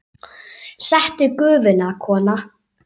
Settu á Gufuna, kona!